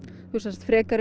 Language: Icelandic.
frekari